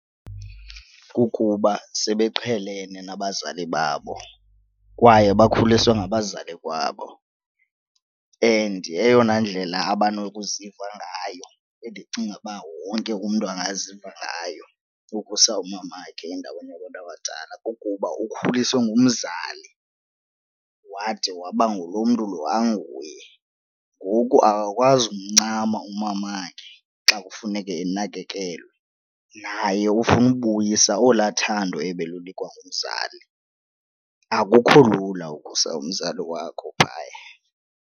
Kukuba sebeqhelene nabazali babo kwaye bakhuliswe ngabazali kwabo and eyona ndlela abanokuziva ngayo endicinga uba wonke umntu angaziva ngayo kukusa umamakhe endaweni yabantu abadala kukuba ukhuliswe ngumzali wade waba ngulo mntu lo anguye, ngoku akakwazi kumncama umamakhe xa kufuneke enakekelwe naye. Ufuna ubuyisa olwaa thando ebelunikwa ngumzali. Akukho lula ukusa umzali wakho phaya.